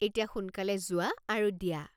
এতিয়া সোনকালে যোৱা আৰু দিয়া।